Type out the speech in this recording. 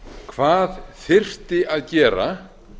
hvað þyrfti að gera